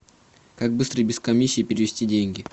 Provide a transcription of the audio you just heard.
как быстро и без комиссии перевести деньги